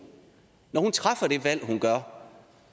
træffer det valg hun gør